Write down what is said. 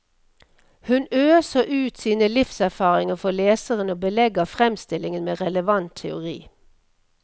Hun øser ut sine livserfaringer for leseren og belegger fremstillingen med relevant teori.